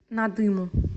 надыму